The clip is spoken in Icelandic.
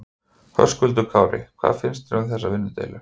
Höskuldur Kári: Hvað finnst þér um þessa vinnudeilu?